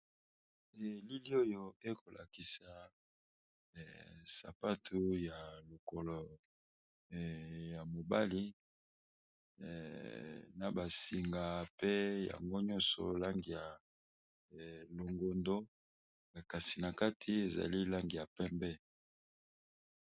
Elili oyo ekolakisa sapatu ya lokolo ya mobali na ba singa pe yango nyonso langi ya longondo kasi na kati ezali langi ya pembe.